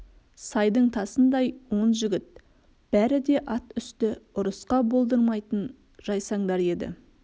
сайдың тасындай он жігіт бәрі де ат үсті ұрысқа болдырмайтын жайсаңдар еді